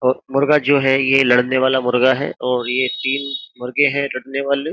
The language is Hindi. और मुर्गा जो है ये लड़ने वाला मुर्गा है और ये तीन मुर्गे है लड़ने वाले।